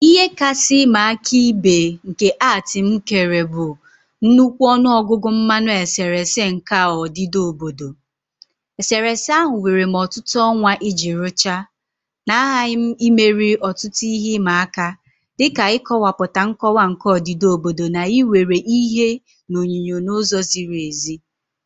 Ihe kasị ịma aka ibe nke art m mgbe kere bụ nnukwu ọnụ ọgụgụ mmanụ eserese nke a odida obodo. Eserese ahụ were m ọtụtụ ọnwa iji rụchaa, na aghaghị m imeri ọtụtụ ihe ịma aka, dị ka ịkọwapụta nkọwa nke odida obodo na iwere ìhè na onyinyo n'ụzọ ziri ezi.